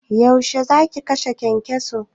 Yaushe zaki kashe kyankyason?